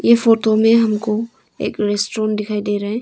ये फोटो में हमको एक रेस्टोरेंट दिखाई दे रहा है।